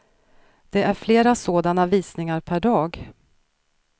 Det är flera sådana visningar per dag.